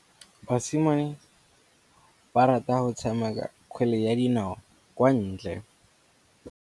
Basimane ba rata go tshameka kgwele ya dinaô kwa ntle.